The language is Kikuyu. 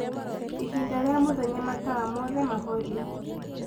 ĩhĩnda rĩa mũthenya matawa mothe mahorio